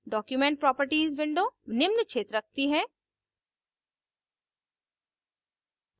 document properties window निम्न क्षेत्र रखती है